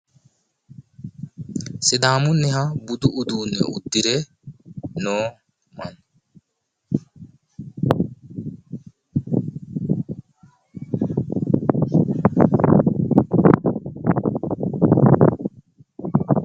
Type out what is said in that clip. Sidaamunniha budu udduunne uddire noo mancho.